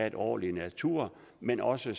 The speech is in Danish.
en ordentlig natur men også